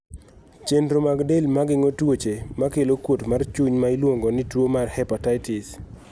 chenro mag del mageng'o tuoche makelo kuot mar chuny ma iluongo ni tuo mar hepatitis